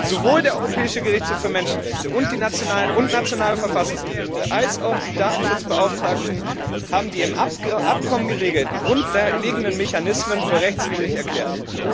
Sowohl der Europäische Gerichtshof für Menschenrechte und nationale Verfassungsgerichte als auch die Datenschutzbeauftragten haben die im Abkommen geregelten grundlegenden Mechanismen für rechtwidrig erklärt.